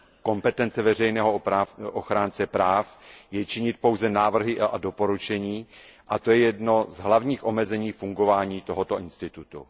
Kompetence veřejného ochránce práv je činit pouze návrhy a doporučení, a to je jedno z hlavních omezení fungování tohoto institutu.